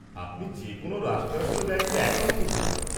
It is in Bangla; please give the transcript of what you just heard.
আপনি যে কোনও রাষ্ট্রায়ত্ত ব্যাঙ্কে অ্যাকাউন্ট খুলতে পারেন।